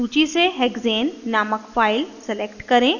सूची से hexane named file select करें